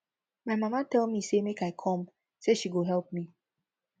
my mama tell me say make i come say she go help me